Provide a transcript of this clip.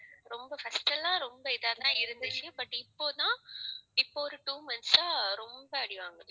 ரொம்ப first அல்ல இப்போதான் இப்போ ஒரு two month அ ரொம்ப அடி வாங்குது